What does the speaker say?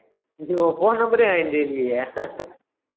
இது உன் phone number ஏ என்கிட்ட இல்லையே